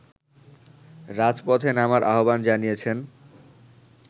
রাজপথে নামার আহ্বান জানিয়েছেন